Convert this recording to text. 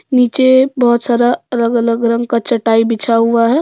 नीचे बहुत सारा अलग अलग रंग का चटाई बिछा हुआ है।